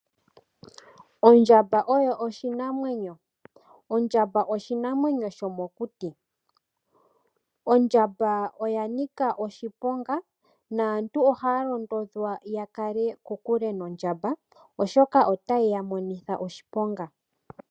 Ondjamba oyo oshinamwenyo. Ondjamba oshinamwenyo shomokuti. Ondjamba oya nika oshiponga naantu ohaya londodhwa ya kale kokule nondjamba oshoka otayi ya monitha oshiponga.